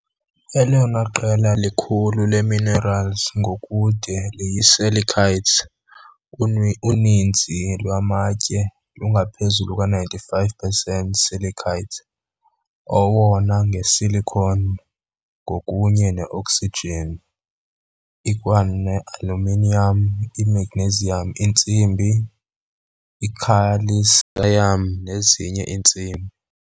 Elona qela likhulu leeminerali ngokude liyisilicates, uninzi lwamatye lungaphezulu kwa-95 pesenti silicates, owona nge-silicon kunye ne-oxygen, ikwanealuminiyam, i-magnesium, intsimbi, ikhalsiyam nezinye iintsimbi.